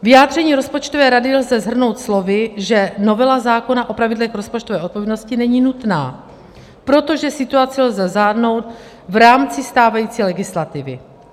Vyjádření rozpočtové rady lze shrnout slovy, že novela zákona o pravidlech rozpočtové odpovědnosti není nutná, protože situaci lze zvládnout v rámci stávající legislativy.